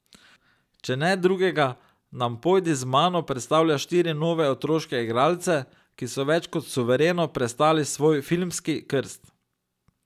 Če ne drugega, nam Pojdi z mano predstavlja štiri nove otroške igralce, ki so več kot suvereno prestali svoj filmski krst.